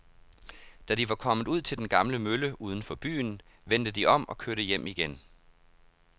Da de var kommet ud til den gamle mølle uden for byen, vendte de om og kørte hjem igen.